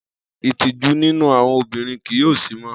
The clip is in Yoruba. Itiju ninu awọn obinrin kii yoo si mọ.